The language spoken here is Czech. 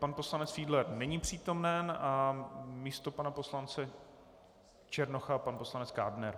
Pan poslanec Fiedler není přítomen a místo pana poslance Černocha pan poslanec Kádner.